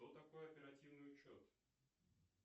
что такое оперативный учет